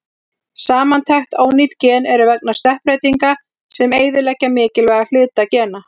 Samantekt: Ónýt gen eru vegna stökkbreytinga sem eyðileggja mikilvæga hluta gena.